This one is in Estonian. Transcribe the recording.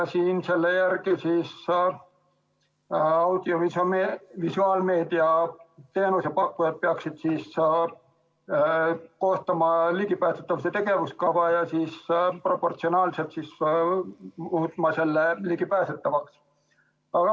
Selle järgi peaksid audiovisuaalmeedia teenuse pakkujad koostama ligipääsetavuse tegevuskava ja siis proportsionaalselt muutma selle ligipääsetavaks.